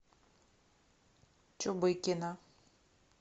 чубыкина